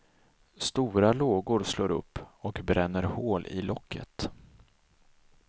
Stora lågor slår upp och bränner hål i locket.